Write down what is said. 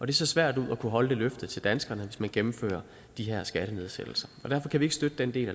det ser svært ud at kunne holde det løfte til danskerne hvis man gennemfører de her skattenedsættelser og derfor kan vi ikke støtte den del